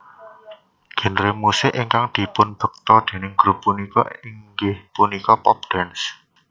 Genre musik ingkang dipunbekta déning grup punika inggih punika pop dance